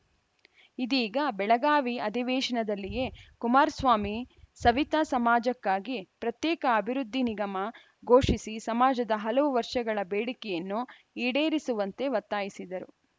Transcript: ಇದೀಗ ಬೆಳಗಾವಿ ಅಧಿವೇಶನದಲ್ಲಿಯೇ ಕುಮಾರಸ್ವಾಮಿ ಸವಿತ ಸಮಾಜಕ್ಕಾಗಿ ಪ್ರತ್ಯೇಕ ಅಭಿವೃದ್ಧಿ ನಿಗಮ ಘೋಷಿಸಿ ಸಮಾಜದ ಹಲವು ವರ್ಷಗಳ ಬೇಡಿಕೆಯನ್ನು ಈಡೇರಿಸುವಂತೆ ಒತ್ತಾಯಿಸಿದರು